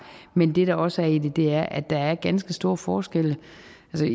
men det der også er i det er at der er ganske store forskelle